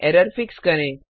error fix करें